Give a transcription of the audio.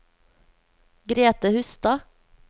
Grete Hustad